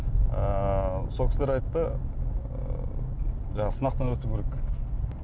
ыыы сол кісілер айтты ыыы жаңағы сынақтан өту керек